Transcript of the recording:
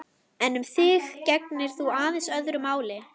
Við afréðum að fara af hótelinu klukkan fjögur.